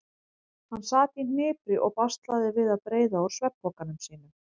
Hann sat í hnipri og baslaði við að breiða úr svefnpokanum sínum.